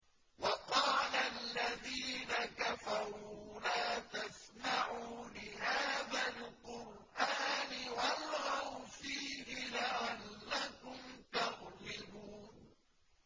وَقَالَ الَّذِينَ كَفَرُوا لَا تَسْمَعُوا لِهَٰذَا الْقُرْآنِ وَالْغَوْا فِيهِ لَعَلَّكُمْ تَغْلِبُونَ